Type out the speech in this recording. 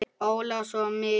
Óla og svo mig.